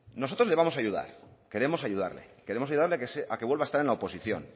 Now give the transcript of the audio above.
nosotros le vamos a ayudar queremos ayudarle queremos ayudarle a que vuelva a estar en la oposición